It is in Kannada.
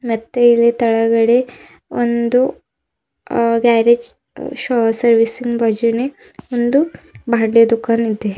ಮತ್ತೆ ಇಲ್ಲಿ ತೆಳಗಡೆ ಒಂದು ಹ ಗ್ಯಾರೇಜ್ ದುಖಾನ್ ಇದೆ.